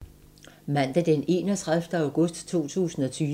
Mandag d. 31. august 2020